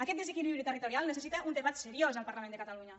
aquest desequilibri territorial necessita un debat seriós al parlament de catalunya